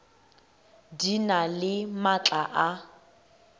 di na le maatla a